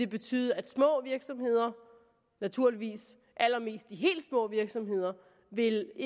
betyde at små virksomheder naturligvis allermest de helt små virksomheder vil